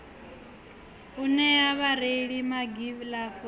u nea vhareili magilavu a